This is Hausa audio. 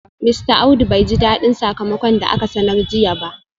Mista Audu bai ji dadin sakamakon da aka sanar jiya ba